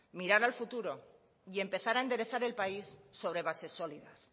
mirar al futuro y empezar a enderezar el país sobre bases sólidas